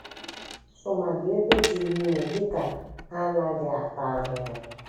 Tụmadi ebe dị n'ime dị ka ha ana-ata ahụhụ